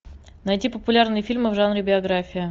найти популярные фильмы в жанре биография